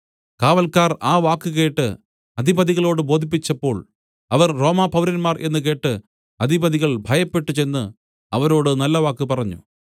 കാവൽക്കാർ ആ വാക്ക് അധിപതികളോട് ബോധിപ്പിച്ചപ്പോൾ അവർ റോമ പൗരന്മാർ എന്നു കേട്ട് അധിപതികൾ ഭയപ്പെട്ട് ചെന്ന് അവരോട് നല്ലവാക്ക് പറഞ്ഞു